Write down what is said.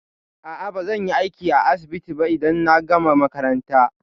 A'a, bazan yi aiki a asibiti ba idan na gama makaranta.